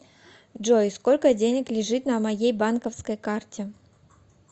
джой сколько денег лежит на моей банковской карте